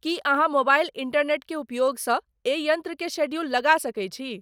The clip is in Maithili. की अहाँमोबाइल इंटरनेट के उपयोग स एहि यंत्र के शेड्यूल लगा सके छी